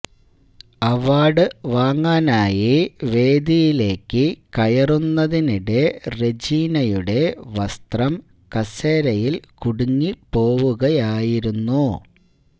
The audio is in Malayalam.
അവാർഡ് വാങ്ങാനായി വേദിയിലേക്ക് കയറുന്നതിനിടെ റെജീനയുടെ വസ്ത്രം കസേരയിൽ കുടുങ്ങി പോവുകയായിരുന്നു